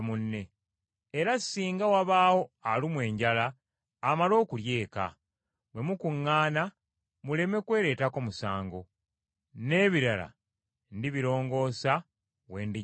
Era singa wabaawo alumwa enjala amale okulya eka, bwe mukuŋŋaana muleme kwereetako musango. N’ebirala ndibirongoosa, we ndijjira wonna.